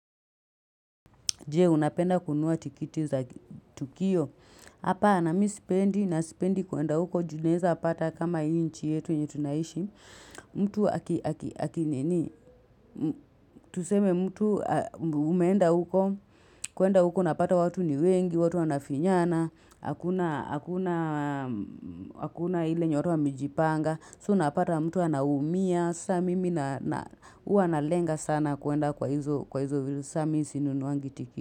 Jee, unapenda kununua tikiti za Tukio. Hapana, namisipendi, nasipendi kuenda huko, junaweza pata kama nchi yetu yenye tunaishi. Mtu haki nini, tuseme mtu umeenda huko, kuenda huko unapata watu ni wengi, watu wanafinyana, hakuna ile nyororo wa mejipanga, so unapata mtu anaumia, sa mimi na hua na lenga sana kuenda kwa hizo vitu, samimi sinunuangitiketi.